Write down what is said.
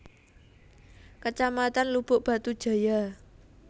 Kecamatan Lubuk Batu Jaya